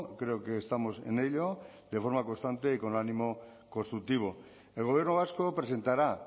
creo que estamos en ello de forma constante y con ánimo constructivo el gobierno vasco presentará